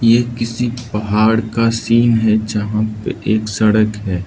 ये किसी पहाड़ का सीन है जहां पे एक सड़क है।